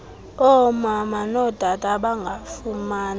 omama notata abangafumani